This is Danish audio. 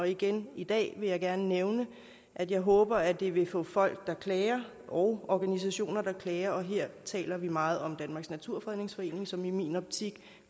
igen i dag vil jeg gerne nævne at jeg håber at det måske vil få folk der klager og organisationer der klager og her taler vi meget om danmarks naturfredningsforening som i min optik